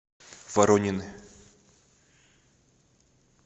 воронины